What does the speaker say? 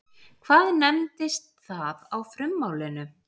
Hvað nefndist það á frummálinu?